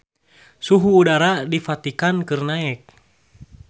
Suhu udara di Vatikan keur naek